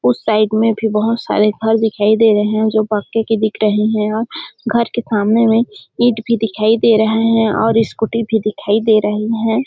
उस साइड में भी बहुत सारे घर दिखाई दे रहे है जो पक्के की दिख रहे है और घर के सामने मे इट भी दिखाई दे रहे है और स्कूटी भी दिखाई दे रहे है |